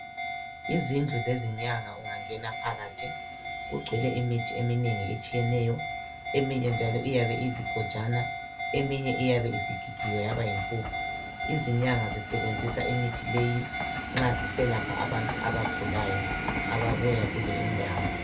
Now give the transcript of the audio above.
Izindlu zezinyanga ungangena phakathi kugcwele imithi eminengi etshiyeneyo, eminye njalo iyabe iyizigojana eminye iyabe isgigigiwe yaba yimphuphu. Izinyanga zisebenzisa imithi leyi nxa ziselapha abantu abagulayo ababuya kule indawo.